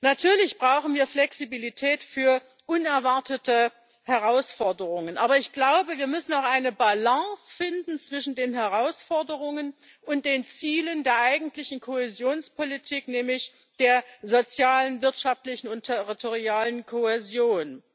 Natürlich brauchen wir Flexibilität für unerwartete Herausforderungen. Aber ich glaube, wir müssen eine Balance zwischen den Herausforderungen und den Zielen der eigentlichen Kohäsionspolitik finden, nämlich der sozialen, wirtschaftlichen und territorialen Kohäsion.